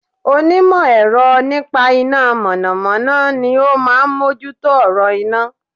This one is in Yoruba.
Onímọ̀ ẹ̀ro nípa iná mọ̀nọ̀mọ́nọ́ ni ó máa mójútó ọ̀rọ̀ iná